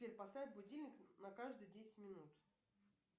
сбер поставь будильник на каждые десять минут